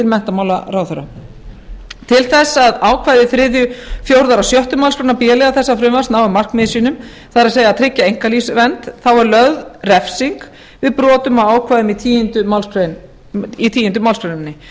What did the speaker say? menntamálaráðherra til þess að ákvæði þriðju fjórðu og sjöttu málsgrein b liðar þessa frumvarps nái markmiðum sínum það er að tryggja einkalífsvernd er lögð refsing við brotum á ákvæðunum í tíundu málsgrein